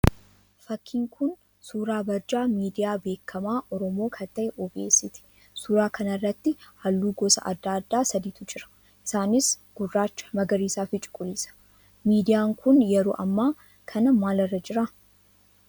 Fakkiin kun suuraa barjaa miidiyaa beekamaa Oromoo kan ta'e OBS ti. Suuraa kana irratti halluu gosa adda addaa sadiitu jira. isaanis: gurraacha, magariisaa fi cuquliisa. Miidiyaan kun yeroo hammaa kana maal irra jira?